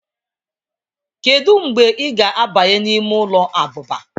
kedu mgbe ị ga-abanye n'ime ụlọ abụba